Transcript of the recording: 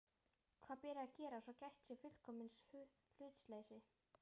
Hvað beri að gera, svo gætt sé fullkomins hlutleysis?